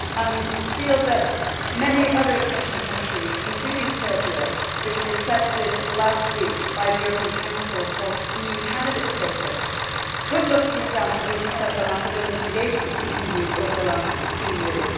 I feel that many other accession countries, including Serbia which was accepted last week by the European Council for EU candidate status could look to the example that has been set by Macedonia's engagement with the EU over the last few years.